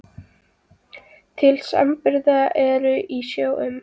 Til samanburðar eru í sjó um